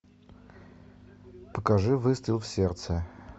покажи выстрел в сердце